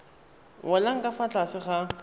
welang ka fa tlase ga